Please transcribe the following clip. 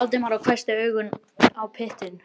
sagði Valdimar og hvessti augun á piltinn.